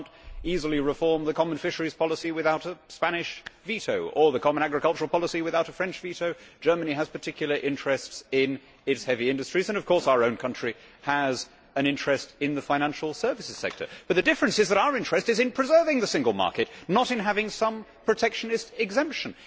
You cannot easily reform the common fisheries policy without this receiving a Spanish veto, or the common agricultural policy without a French veto. Germany has particular interests in its heavy industries and, of course, my own country has an interest in the financial services sector. The difference is, however, that our interest is in preserving the single market, and not in having some protectionist exemption.